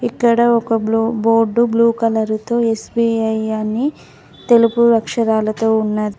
ఇక్కడ ఒక బ్లొ బోర్డు బ్లూ కలర్ తో ఎస్_బి_ఐ అని తెలుపు అక్షరాలతో ఉన్న--